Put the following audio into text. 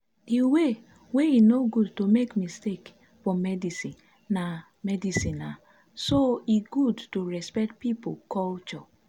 the way wey e no good to make mistake for medicinena medicinena so e good to respect pipo culture.